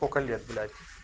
сколько лет блять